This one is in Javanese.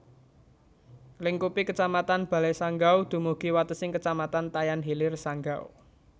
Nglingkupi Kecamatan Balai Sanggau dumugi watesing Kecamatan Tayan Hilir Sanggau